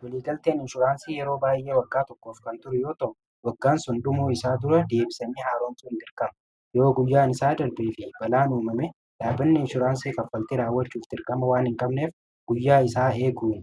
Waliigalteen inshuraansii yeroo baay'ee waggaa tokkoof kan ture yoo ta'u waggaan sun dhumuu isaa dura deebisanii haaroomsuun dirqama. Yoo guyyaan isaa darbee fi balaan uumame dhaabanni inshuraansii kaffaltii raawwachuu dirqama waan hin qabneef guyyaa isaa eeguu